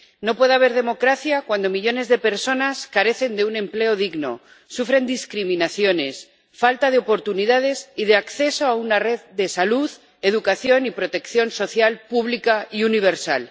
No puede haber democracia cuando millones de personas carecen de un empleo digno, sufren discriminaciones, falta de oportunidades y de acceso a una red de salud, educación y protección social pública y universal.